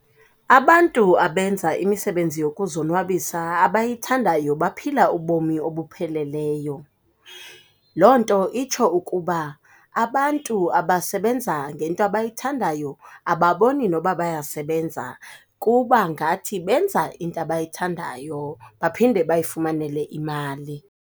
Abantu abenza imisebenzi yokuzonwabisa abayithandayo baphila ubomu obupheleleyo. Loo nto itsho ukuba, abantu abasebenza ngento abayithandayo ababoni nokuba bayasebenza. Kuba ngathi benza into abayithandayo, baphinde bayifumanele imali.